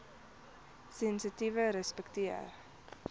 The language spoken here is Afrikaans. sensitiefrespekteer